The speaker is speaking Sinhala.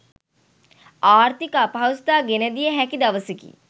ආර්ථික අපහසුතා ගෙනදිය හැකි දවසකි.